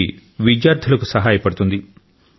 ఇది విద్యార్థులకు సహాయ పడుతుంది